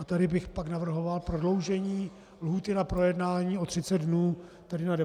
A tady bych pak navrhoval prodloužení lhůty na projednání o 30 dnů, tedy na 90 dnů.